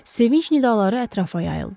Sevinc nidaları ətrafa yayıldı.